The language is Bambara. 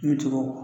Ni cogo